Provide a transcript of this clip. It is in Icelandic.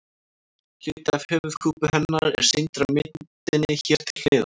Hluti af höfuðkúpu hennar er sýndur á myndinni hér til hliðar.